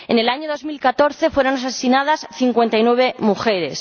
En el año 2014 fueron asesinadas 59 mujeres.